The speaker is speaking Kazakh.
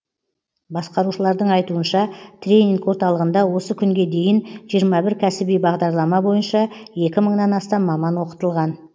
басқарушылардың айтуынша тренинг орталығында осы күнге дейін жиырма бір кәсіби бағдарлама бойынша екі мыңнан астам маман оқытылған